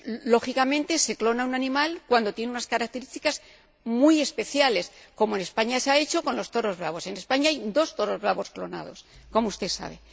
lógicamente se clona a un animal cuando tiene unas características muy especiales, como en España se ha hecho con los toros bravos —en España hay dos toros bravos clonados, como usted sabe—.